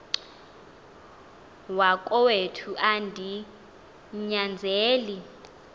wakowethu andi nyanzeli